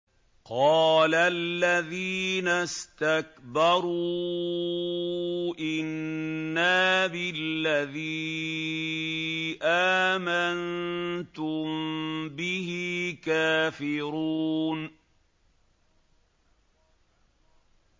قَالَ الَّذِينَ اسْتَكْبَرُوا إِنَّا بِالَّذِي آمَنتُم بِهِ كَافِرُونَ